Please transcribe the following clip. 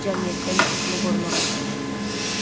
Cəmiyyətdə nüfuzunu qorumağa çalışırdı.